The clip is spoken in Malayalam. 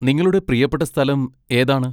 നിങ്ങളുടെ പ്രിയപ്പെട്ട സ്ഥലം ഏതാണ്?